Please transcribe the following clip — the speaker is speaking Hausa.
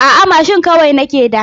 A'a mashin kawai nake da.